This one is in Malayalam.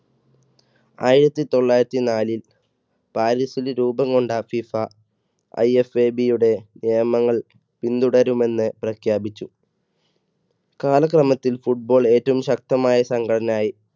ആയിരത്തി തൊള്ളായിരത്തി നാലിൽ പാരീസില് രൂപം കൊണ്ട ഫിഫ IFAB യുടെ നിയമങ്ങൾ പിന്തുടരുമെന്ന് പ്രഖ്യാപിച്ചു. കാലക്രമത്തിൽ Football ഏറ്റവും ശക്തമായ സംഘടനയായി.